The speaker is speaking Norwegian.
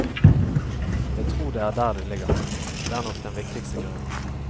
Jeg tror det er der det ligger, det er nok den viktigste grunnen.